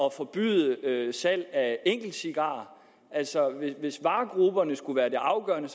at forbyde salg af enkeltcigarer altså hvis varegrupperne skulle være det afgørende